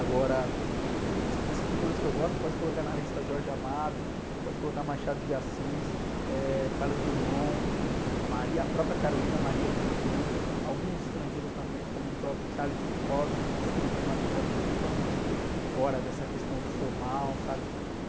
Agora, escritores que eu gosto, pode colocar na lista Jorge Amado, pode colocar Machado de Assis, eh, Carlos Drummond, Maria, a própria Carolina Maria de Jesus, alguns estrangeiros também, como o próprio Charles Bukowski, que escrevia uma literatura totalmente fora dessa questão do formal, sabe?